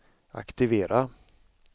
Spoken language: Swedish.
aktivera